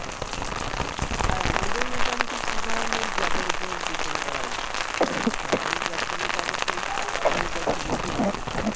আর আমাদের মোটামুটি কি ধরনের job এর উপর depend করা উচিত সরকারি job পেলে তো অবশ্যই